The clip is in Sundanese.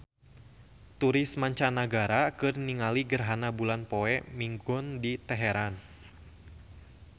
Turis mancanagara keur ningali gerhana bulan poe Minggon di Teheran